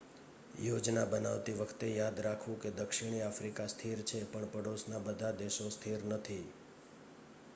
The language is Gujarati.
યોજના બનાવતી વખતે યાદ રાખવું કે દક્ષિણી આફ્રિકા સ્થિર છે પણ પડોશના બધા દેશો સ્થિર નથી